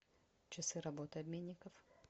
часы работы обменников